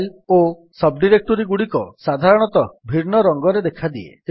file ଓ ସବ୍ ଡିରେକ୍ଟୋରୀଗୁଡିକ ସାଧାରଣତଃ ଭିନ୍ନ ରଙ୍ଗରେ ଦେଖାଦିଏ